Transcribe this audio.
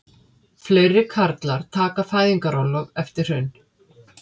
Færri karlar taka fæðingarorlof eftir hrun